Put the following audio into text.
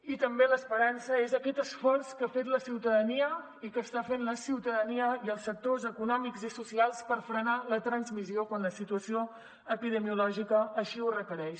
i també l’esperança és aquest esforç que ha fet la ciutadania i que està fent la ciutadania i els sectors econòmics i socials per frenar la transmissió quan la situació epidemiològica així ho requereix